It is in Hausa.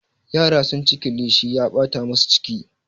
Yara sunci kilishi ya ɓata musu ciki.